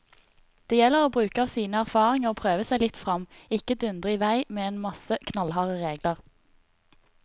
Det gjelder å bruke av sine erfaringer og prøve seg litt frem, ikke dundre i vei med en masse knallharde regler.